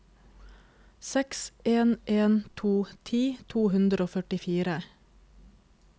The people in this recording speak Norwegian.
seks en en to ti to hundre og førtifire